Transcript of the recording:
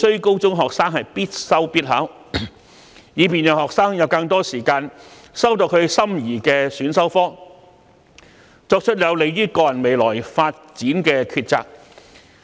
高中學生不再必修必考，讓他們有更多時間修讀心儀的選修科，以及作出有利於個人未來發展的抉擇。